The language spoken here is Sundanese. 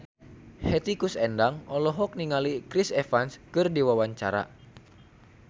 Hetty Koes Endang olohok ningali Chris Evans keur diwawancara